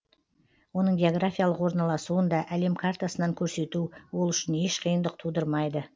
оның географиялық орналасуын да әлем картасынан көрсету ол үшін еш қиындық тудырмайды